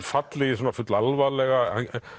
fallið í svona full alvarlegan